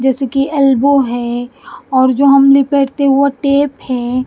जैसे कि एल्बो है और जो हम लेपेटते है ओ टेप हैं।